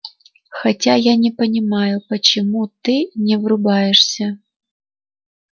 хотя я не понимаю почему ты не врубаешься